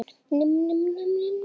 Hún fór sér hægt.